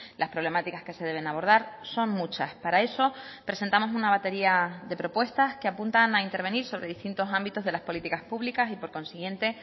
las problemáticas que se deben abordar son muchas para eso presentamos una batería de propuestas que apuntan a intervenir sobre distintos ámbitos de las políticas públicas y por consiguiente